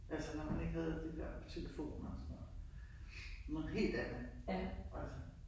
Altså man ikke havde de der telefoner og sådan. Noget helt andet altså